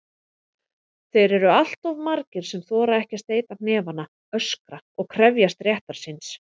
Þeir eru alltof margir sem þora ekki að steyta hnefana, öskra og krefjast réttar síns.